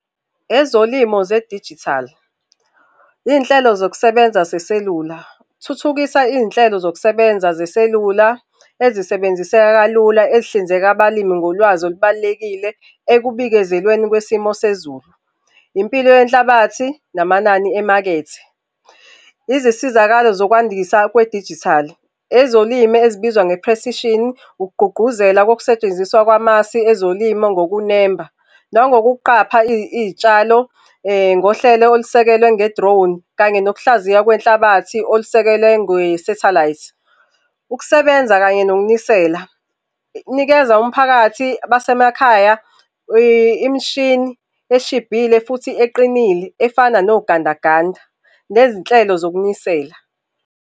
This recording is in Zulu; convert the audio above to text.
Ezolimo zedijithali, iy'nhlelo zokusebenza zeselula. Thuthukisa iy'nhlelo zokusebenza zeselula ezisebenziseka kalula, ezihlinzeka abalimi ngolwazi olubalulekile ekubikezelweni kwesimo sezulu, impilo yenhlabathi, namanani emakethe. Izisizakalo zokwandisa kwedijithali, ezolimi ezibizwa nge-precision, ukugqugquzela kokusetshenziswa kwamasi ezolimo ngokunemba nangokuqapha iy'tshalo ngohlelo olusekelwe nge-drone, kanye nokuhlaziya kwenhlabathi olusekelwe ngwesathelayithi. Ukusebenza kanye nokunisela, inikeza umphakathi basemakhaya imishini eshibhile futhi eqinile, efana nogandaganda nezinhlelo zokunisela.